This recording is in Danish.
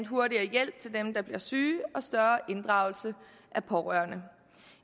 hurtigere hjælp til dem der bliver syge og større inddragelse af pårørende